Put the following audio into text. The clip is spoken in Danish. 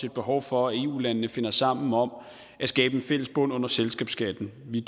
et behov for at i eu landene finder sammen om at skabe en fælles bund under selskabsskatten vi